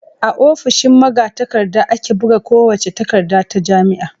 A ofishin magatakarda ake buga kowace takarda ta jami'a.